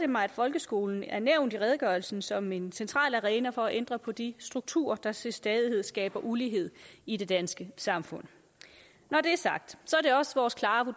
mig at folkeskolen er nævnt i redegørelsen som en central arena for at ændre på de strukturer der til stadighed skaber ulighed i det danske samfund når